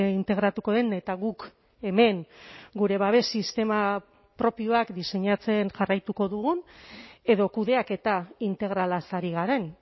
integratuko den eta guk hemen gure babes sistema propioak diseinatzen jarraituko dugun edo kudeaketa integralaz ari garen